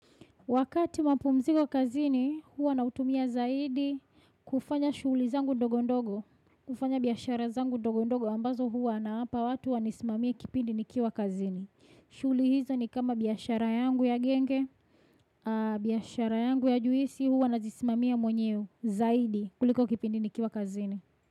Wakati mapumziko kazini, huwa nautumia zaidi kufanya shuli zangu ndogo ndogo, kufanya biyashara zangu ndogo ndogo ambazo huwa na hapa watu wanismamia kipindi nikiwa kazini. Shughuli hizo ni kama biyashara yangu ya genge, biyashara yangu ya juisi huwa najismamia mwenyewe zaidi kuliko kipindi nikiwa kazini.